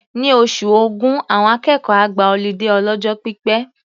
Ní oṣù Ògún, àwọn akẹ́kọ̀ọ́ á gba ọlídé ọlọ́jọ́ pípẹ́.